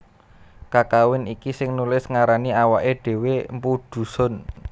Kakawin iki sing nulis ngarani awaké dhéwé mpu Dhusun